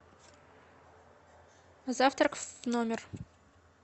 завтрак в номер